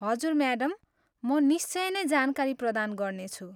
हजुर म्याडम, म निश्चय नै जानकारी प्रदान गर्नेछु।